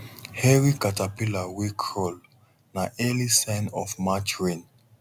hairy caterpillar wey crawl na early sign of march rain